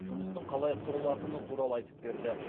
жұмыстың қалай құрылатыны туралы айтып берді